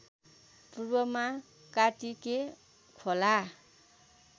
पूर्वमा कात्तिके खोला